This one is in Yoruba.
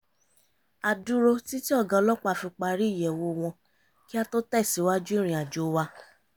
a dúró títí ọ̀gá ọlọ́pàá fi parí ìyẹ̀wò wọn kí á tó tẹ̀sìwájú ìriǹ àjò wa